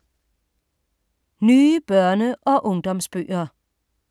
Nye børne- og ungdomsbøger